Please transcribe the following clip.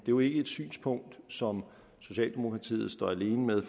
jo ikke et synspunkt som socialdemokratiet står alene med